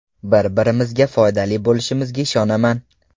Bir-birimizga foydali bo‘lishimizga ishonaman.